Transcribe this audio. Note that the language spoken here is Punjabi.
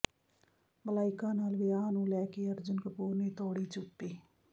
ਮਲਾਇਕਾ ਨਾਲ ਵਿਆਹ ਨੂੰ ਲੈ ਕੇ ਅਰਜੁਨ ਕਪੂਰ ਨੇ ਤੋੜੀ ਚੁੱਪੀ